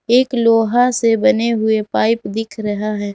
एक लोहा से बने हुए पाइप दिख रहा है।